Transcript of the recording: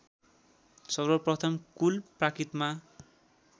सर्वप्रथम पुल प्राकृतमा